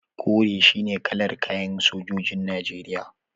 Kore shine kalar kayan sojojin Najeriya.